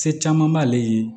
Se caman b'ale ye